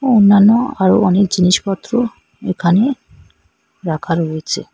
ও অন্যান্য আরও অনেক জিনিসপত্র এখানে রাখা রয়েছে।